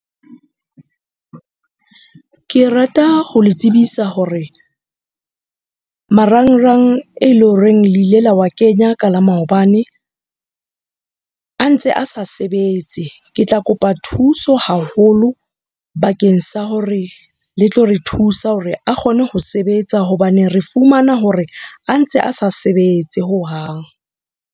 Ke rata ho le tsebisa hore marangrang e leng horeng le ile la wa kenya ka la maobane a ntse a sa sebetse. Ke tla kopa thuso haholo bakeng sa hore le tlo re thusa hore a kgone ho sebetsa. Hobane re fumana hore a ntse a sa sebetse hohang.